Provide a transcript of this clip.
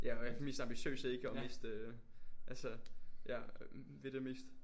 Ja og er de mest ambitiøse ikke og mest øh altså ja vil det mest